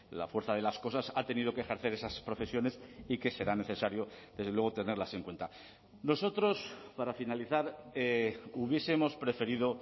la fuerza de las cosas ha tenido que ejercer esas profesiones y que será necesario desde luego tenerlas en cuenta nosotros para finalizar hubiesemos preferido